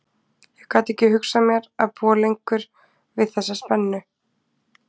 Ég gat ekki hugsað mér að búa lengur við þessa spennu.